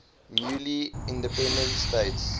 newly independent states